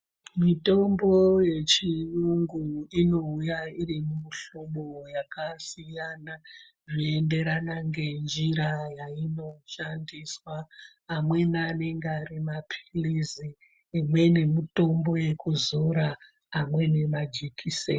Mitombo yechiyungu inouya iri mumuhlobo yakasiyana zvoenderana ngenjira yainoshandiswa. Amweni anenge ari mapilizi, imweni mitombo yekuzora, amweni majikiseni.